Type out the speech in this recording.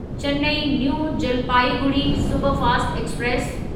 Chennai new Jalpaiguri superfast express